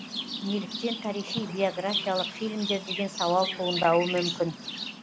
неліктен тарихи биографиялық фильмдер деген сауал туындауы мүмкін